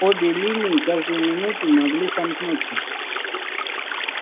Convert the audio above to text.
обе линии каждую минуту могли сомкнуться